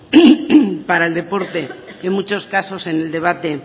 para el deporte en muchos casos en el debate